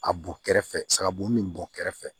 A bɔn kɛrɛfɛ sabugu min bɔn kɛrɛfɛ